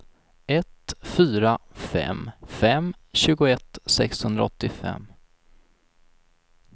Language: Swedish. ett fyra fem fem tjugoett sexhundraåttiofem